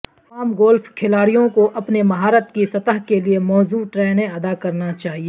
تمام گولف کھلاڑیوں کو اپنے مہارت کی سطح کے لئے موزوں ٹرینیں ادا کرنا چاہئے